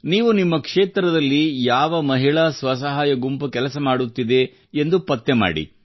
ನೀವು ನಿಮ್ಮ ಕ್ಷೇತ್ರದಲ್ಲಿ ಯಾವ ಮಹಿಳಾ ಸ್ವಸಹಾಯ ಗುಂಪು ಕೆಲಸ ಮಾಡುತ್ತಿದೆ ಎಂದು ಪತ್ತೆ ಹಚ್ಚಿ